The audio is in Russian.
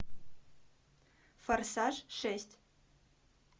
форсаж шесть